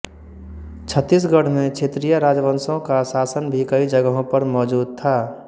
छत्तीसगढ़ में क्षेत्रीय राजवंशो का शासन भी कई जगहों पर मौजूद था